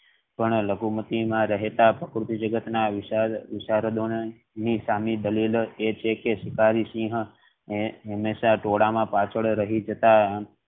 પણ લઘુમતી માં રહેતા પ્રકૃતિ જગત ના ની સામી દલીલ એ છે કે શિકારી સિંહ હંમેશા ટોળા માં પાછળ રહી જાતા.